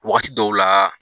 Waagati dɔw laaa.